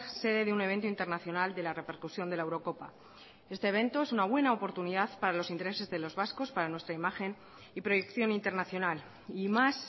sede de un evento internacional de la repercusión de la eurocopa este evento es una buena oportunidad para los intereses de los vascos para nuestra imagen y proyección internacional y más